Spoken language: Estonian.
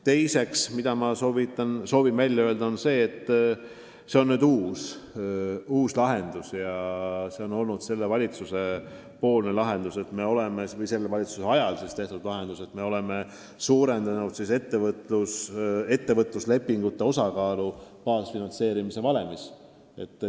Teiseks nimetan selle valitsuse aegset uudset lahendust, et me oleme suurendanud ettevõtluslepingute osakaalu baasfinantseerimise valemis.